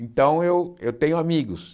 Então, eu eu tenho amigos.